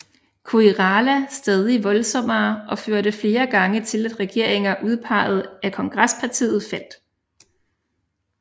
Koirala stadig voldsommere og førte flere gange til at regeringer udpeget af Kongresspartiet faldt